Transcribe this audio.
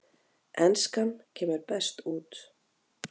Enskan kemur best út